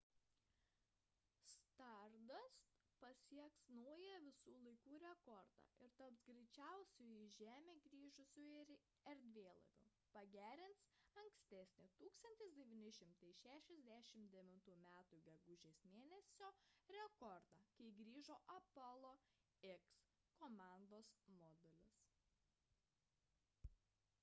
stardust pasieks naują visų laikų rekordą ir taps greičiausiu į žemę grįžusiu erdvėlaiviu pagerins ankstesnį 1969 m gegužės mėn. rekordą kai grįžo apollo x komandos modulis